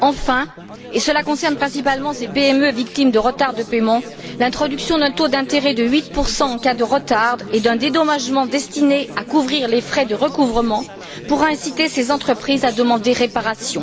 Enfin, et cela concerne principalement les PME victimes de retard de paiement, l'introduction d'un taux d'intérêt de 8 en cas de retard et d'un dédommagement destiné à couvrir les frais de recouvrement pourra inciter ces entreprises à demander réparation.